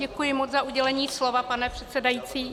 Děkuji moc za udělení slova, pane předsedající.